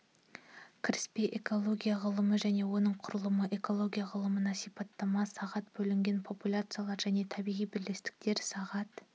кіріспе экология ғылымы және оның құрылымы экология ғылымына сипаттама сағат бөлінген популяциялар және табиғи бірлестіктер сағат